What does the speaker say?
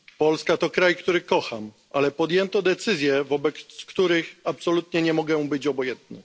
Polska to kraj, który kocham, ale podjęto decyzje, wobec których absolutnie nie mogę być obojętny.